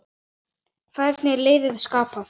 Hvernig er liðið skipað?